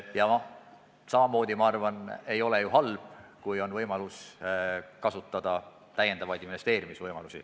Ja ma arvan ka, et ei ole ju halb, kui on võimalus kasutada täiendavaid investeerimisvõimalusi.